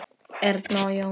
Erna og Jón.